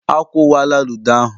A kwuwala ludo ahụ.